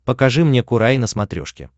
покажи мне курай на смотрешке